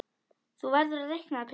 Þú verður að reikna Pétur.